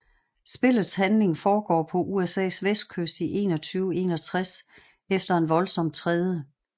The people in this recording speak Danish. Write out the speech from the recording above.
Spillets handling foregår på USAs vestkyst i 2161 efter en voldsom 3